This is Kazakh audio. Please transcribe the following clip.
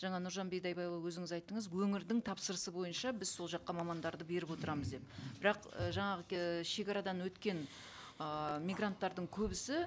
жаңа нұржан бидайбайұлы өзіңіз айттыңыз өңірдің тапсырысы бойынша біз сол жаққа мамандарды беріп отырамыз деп бірақ і жаңағы шегарадан өткен ыыы мигранттардың көбісі